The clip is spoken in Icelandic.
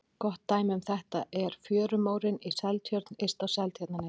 Gott dæmi um þetta er fjörumórinn í Seltjörn yst á Seltjarnarnesi.